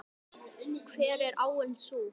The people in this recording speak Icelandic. Hver er áin sú?